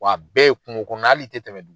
Wa a bɛɛ ye kungo kɔnɔ na hali i tɛ tɛmɛ